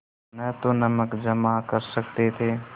न तो नमक जमा कर सकते थे